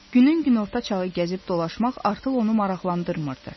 Günün günorta çağı gəzib dolaşmaq artıq onu maraqlandırmırdı.